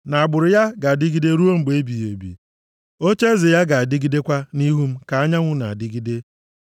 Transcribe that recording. na agbụrụ ya ga-adịgide ruo mgbe ebighị ebi, ocheeze ya ga-adịgidekwa nʼihu m ka anyanwụ na-adịgide.